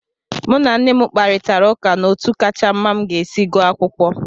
Mụ na nne m kparịtara ụka n'otu kacha mma m ga-esi gụọ akwụkwọ.